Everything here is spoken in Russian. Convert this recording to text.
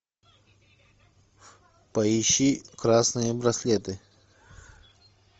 поищи красные браслеты